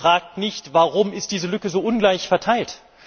Er fragt nicht Warum ist diese Lücke so ungleich verteilt?